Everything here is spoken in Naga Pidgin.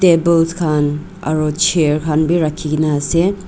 tables khan aro chair khan bi rakhikaena ase.